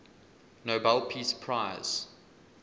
nobel peace prize